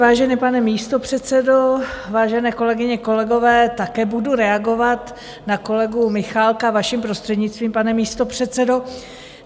Vážený pane místopředsedo, vážené kolegyně, kolegové, také budu reagovat na kolegu Michálka, vaším prostřednictvím, pane místopředsedo.